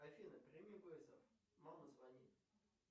афина прими вызов мама звонит